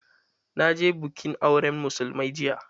Na je bikin auran musulmai jiya.